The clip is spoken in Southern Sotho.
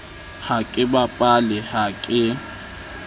ha ke bapale ha ke